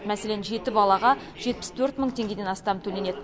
мәселен жеті балаға жетпіс төрт мың теңгеден астам төленеді